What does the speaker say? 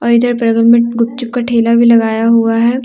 इधर बगल में गुपचुप का ठेला भी लगाया हुआ है।